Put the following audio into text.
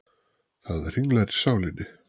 Það hringlar í sálinni.